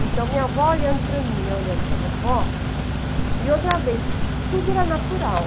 Então, minha avó olhando para mim e eu olhando para minha avó, e outra vez, tudo era natural.